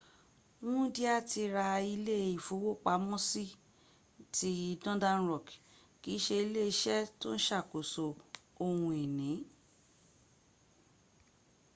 wúndíá ti ra ilé ìfowópamọ́sí” ti northern rock kì í se iléeṣẹ́ tó ń sàkóso ohun ìní